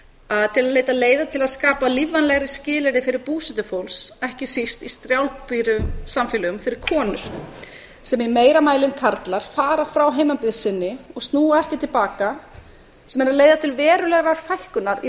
að til að leita leiða til að skapa lífvænlegri skilyrði fyrir betur fólks ekki síst í strjálbýlum samfélögum fyrir konur sem í meira mæli en karlar fara frá heimabyggð sinni og snúa ekki til baka sem er að leiða til verulegrar fækkunar í